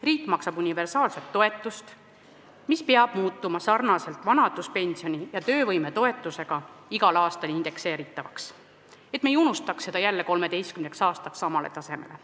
Riik maksab universaalselt toetust, mis peab muutuma sarnaselt vanaduspensioni ja töövõime toetusega igal aastal indekseeritavaks, et me ei unustaks seda jälle 13 aastaks samale tasemele.